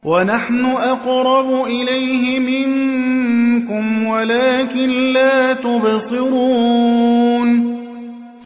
وَنَحْنُ أَقْرَبُ إِلَيْهِ مِنكُمْ وَلَٰكِن لَّا تُبْصِرُونَ